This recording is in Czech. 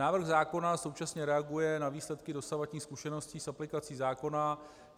Návrh zákona současně reaguje na výsledky dosavadních zkušeností s aplikací zákona.